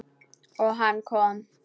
Og hann kom.